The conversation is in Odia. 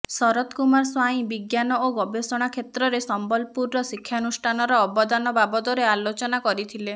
ଶତର କୁମାର ସ୍ୱାଇଁ ବିଜ୍ଞାନ ଓ ଗବେଷଣା କ୍ଷେତ୍ରରେ ସମ୍ବଲପୂୁରର ଶିକ୍ଷାନୁଷ୍ଠାନର ଅବଦାନ ବାବଦରେ ଆଲୋଚନା କରିଥିଲେ